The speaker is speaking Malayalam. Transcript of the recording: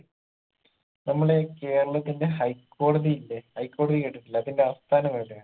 നമ്മളെ കേരളത്തിന്റെ ഹൈക്കോടതി ഇല്ലെ ഹൈക്കോടതി കേട്ടിട്ടില്ലെ അതിന്റെ ആസ്ഥാനം എവിടെയാണ്